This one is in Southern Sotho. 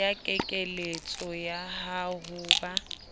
ya kekeletso ya ho ba